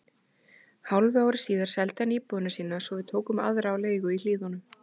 Hálfu ári síðar seldi hann íbúðina sína svo við tókum aðra á leigu í Hlíðunum.